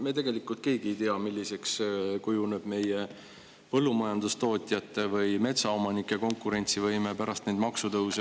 Me tegelikult keegi ei tea, milliseks kujuneb meie põllumajandustootjate või metsaomanike konkurentsivõime pärast neid maksutõuse.